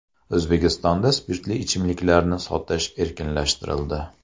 O‘zbekistonda spirtli ichimliklarni sotish erkinlashtirildi.